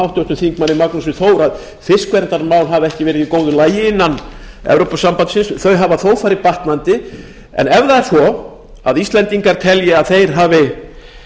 háttvirtum þingmanni magnúsi þór hafsteinssyni að fiskverndarmál hafa ekki verið í góðu lagi innan evrópusambandsins þau hafa þó farið batnandi en ef það er svo að íslendingar telja að þeir hafi